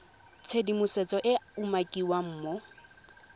tshedimosetso e e umakiwang mo